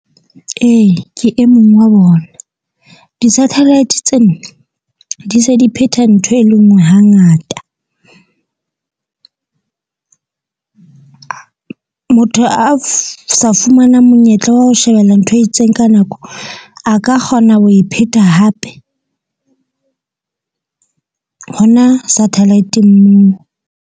Ee, ke e mong wa bona di-satellite tsena di se di phetha ntho e le nngwe hangata. Motho a sa fumanang monyetla wa ho shebella ntho e itseng ka nako, a ka kgona ho e phetha hape hona satellite-ng moo.